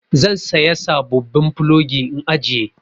Zan saya sabobbin plogi in ajiye.